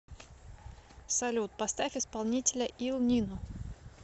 салют поставь исполнителя ил нино